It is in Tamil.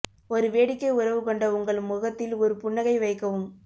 ஒரு வேடிக்கை உறவு கொண்ட உங்கள் முகத்தில் ஒரு புன்னகை வைக்கவும்